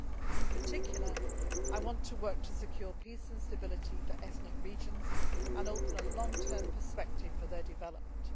In particular, I want to work to secure peace and stability for ethnic regions and to open a long term perspective for their development.